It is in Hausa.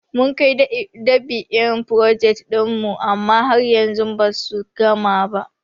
Mun kai dab'in frojet ɗin mu amma har yanzu basu gama ba.